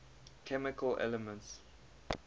chemical elements